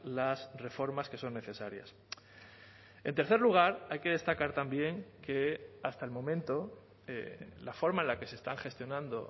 las reformas que son necesarias en tercer lugar hay que destacar también que hasta el momento la forma en la que se están gestionando